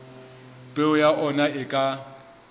peo ya ona e ka